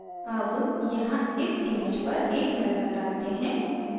अब यहाँ इस image पर एक नज़र डालते हैं